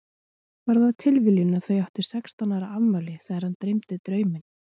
Var það tilviljun að þau áttu sextán ára afmæli þegar hana dreymdi drauminn?